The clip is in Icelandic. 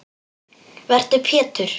Vertu Pétur.